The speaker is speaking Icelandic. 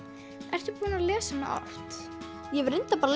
ertu búin að lesa hana oft ég hef reyndar bara